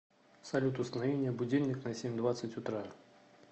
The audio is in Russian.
салют установи мне будильник на семь двадцать утра